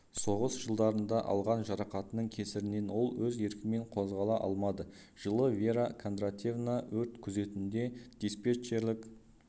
соғыс жылдарында алған жарақатының кесірінен ол өз еркімен қозғала алмады жылы вера кондратьевна өрт күзетінде диспетчерлік